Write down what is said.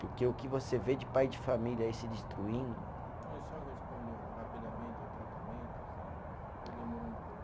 Porque o que você vê de pai de família aí se destruindo. E o senhor respondeu rapidamente ao tratamento, assim, ou demorou um pouco?